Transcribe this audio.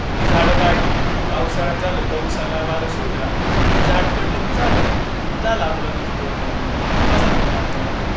मग ती झाड वाढली, पावसाळ्यात झालं, पाऊस आला वारं सुटलं, ते झाड पडलं की झालं, झाला आपला वीज पुरवठा खंडित. बसा तुम्ही अंधारात.